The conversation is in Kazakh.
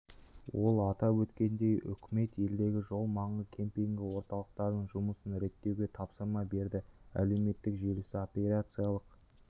ол атап өткендей үкімет елдегі жол маңы кемпингі орталықтарының жұмысын реттеуге тапсырма берді әлеуметтік желісі операциялық